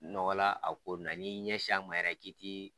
Nɔgɔ la a ko ninnu na n'i ɲɛsi a ma yɛrɛ k'i ti